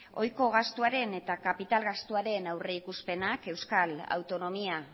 ohiko gastuaren eta kapital gastuaren aurrikuspenak euskal autonomia